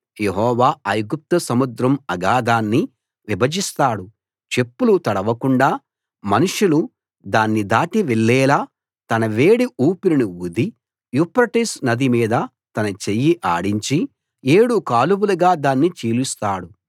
యెహోవా ఐగుప్తు సముద్రం అగాధాన్ని విభజిస్తాడు చెప్పులు తడవకుండా మనుషులు దాన్ని దాటి వెళ్ళేలా తన వేడి ఊపిరిని ఊది యూఫ్రటీసు నది మీద తన చెయ్యి ఆడించి ఏడు కాలువలుగా దాన్ని చీలుస్తాడు